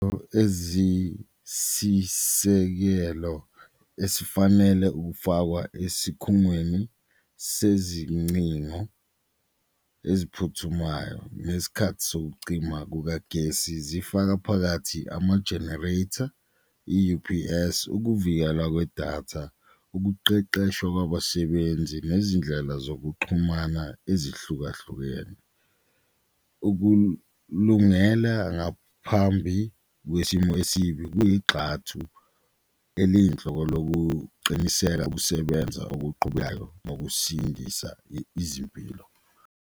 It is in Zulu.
Eziyisisekelo esifanele ukufakwa esikhungweni sezincingo eziphuthumayo ngesikhathi sokucima kukagesi zifaka phakathi ama-generator, i-U_P_S, ukuvikela kwedatha, ukuqeqeshwa kwabasebenzi, nezindlela zokuxhumana ezihlukahlukene. Ukulungela ngaphambi kwesimo esibi kuyigxathu eliyinhloko lokuqiniseka ukusebenza bokusindisa izimpilo.